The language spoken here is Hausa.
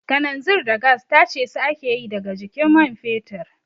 Kananzir da gas tace su ake yi daga jikin man fetur